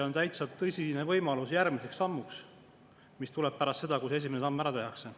On täitsa tõsine võimalus, et see on järgmine samm, mis tuleb pärast seda, kui see esimene samm ära tehakse.